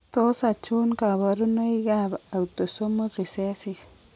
Tos achon kabarunaik ab Autosomal recessive ?